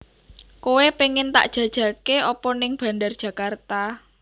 Koe pengen tak jajake opo ning Bandar Djakarta